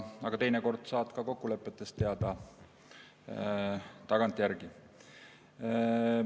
Aga teinekord saad kokkulepetest teada tagantjärele.